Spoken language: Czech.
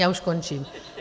Já už končím.